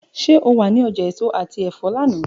Ṣe o wa ni ọja eso ati ẹfọ lana?